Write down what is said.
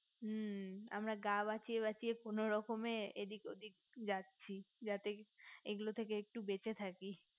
মু আমরা গা বাঁচিয়ে বাঁচিয়ে কোনো রকমে এইদিন ঐদিন যাচ্ছি যাতে এ গুলো থেকে একটু দূরে থাকি